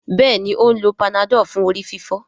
Béèni o ń ló Panadol fún orí-fífọ́.